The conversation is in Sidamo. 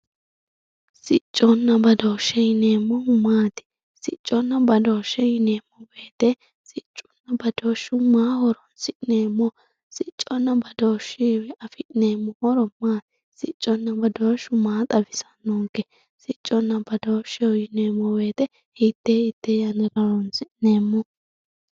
sicconna badooshshe yineemohu maati sicconna badooshshe yineemowoyiite sicconna badooshu maaho horonsi'neemo sicconna badooshshuyiwii afi'neemo horo maatisicconna badooshshu maa xawisannonke sicconna badooshsheho yineemo woyiite hitee hitee yannara horonsi'neemoho